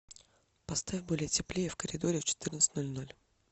поставь более теплее в коридоре в четырнадцать ноль ноль